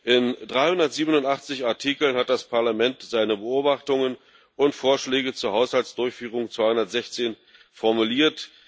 In 387 Artikeln hat das Parlament seine Beobachtungen und Vorschläge zur Haushaltsdurchführung 2016 formuliert.